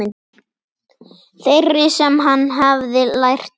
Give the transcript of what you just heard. Þeirri sem hann hefði lært af.